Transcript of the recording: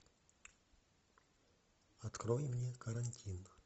открой мне карантин